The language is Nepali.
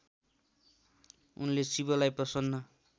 उनले शिवलाई प्रसन्न